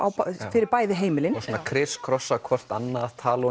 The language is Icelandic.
fyrir bæði heimilin hvort annað tala